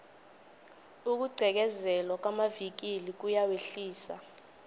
ukugqekezelwa kwamavikili kuyawehlisa